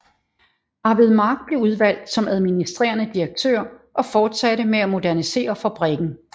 Arvid Mark blev udvalgt som administerende direktør og fortsatte med at modernisere fabrikken